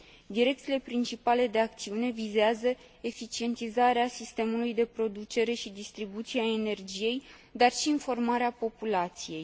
Direcțiile principale de acțiune vizează eficientizarea sistemului de producere și distribuție a energiei, dar și informarea populației.